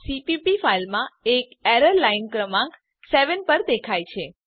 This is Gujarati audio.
સીપીપી ફાઈલમાં એક એરર લાઈન ક્રમાંક 7 પર દેખાય છે